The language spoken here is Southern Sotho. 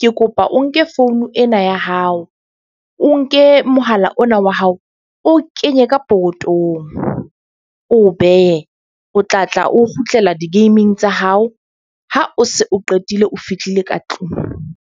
Ke kopa o nke founu ena ya hao, o nke mohala ona wa hao, o kenye ka pokotong. O behe o tla tla o kgutlela di-game-ing tsa hao. Ha o se o qetile o fihlile ka tlung.